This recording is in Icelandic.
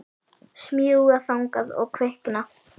Smjúga þangað og kvikna.